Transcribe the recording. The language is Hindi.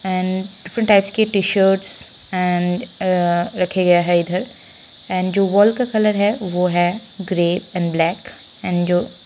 एण्ड डिफ्रन्ट टाइप्स के टी-शर्ट एण्ड रखे गए हैं इधर एण्ड जो वाल का कलर है वो है ग्रे एण्ड ब्लैक एण्ड जो --